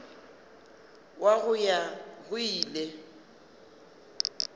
wa go ya go ile